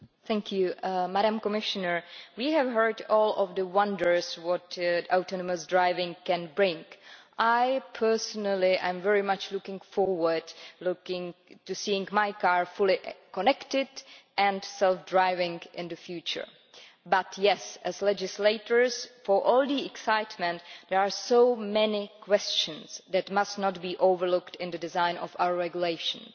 Mr President, I would say to the Commissioner that we have heard all about the wonders of what automated driving can bring. I personally am very much looking forward to seeing my car fully connected and self driving in the future but, as legislators, for all the excitement, there are so many questions that must not be overlooked in the design of our regulations.